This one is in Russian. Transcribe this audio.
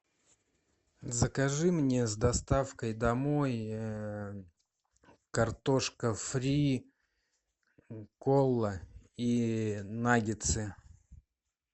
закажи мне с доставкой домой картошка фри кола и наггетсы